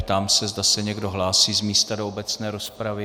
Ptám se, zda se někdo hlásí z místa do obecné rozpravy.